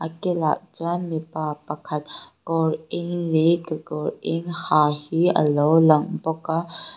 kilah chuan mipa pakhat kawr eng leh kekawr eng ha hi a lo lang bawk a.